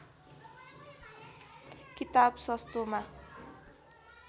किताब सस्तोमा